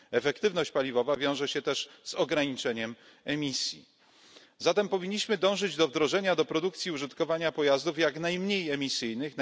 Efektywność paliwowa wiąże się też z ograniczeniem emisji, zatem powinniśmy dążyć do wdrożenia do produkcji i użytkowania pojazdów jak najniżej emisyjnych.